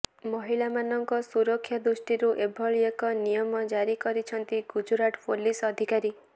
ମହିଳାମାନଙ୍କ ସୁରକ୍ଷା ଦୃଷ୍ଟିରୁ ଏଭଳି ଏକ ନିୟମ ଜାରି କରିଛନ୍ତି ଗୁଜରାଟ ପୋଲିସ ଅଧିକାରୀ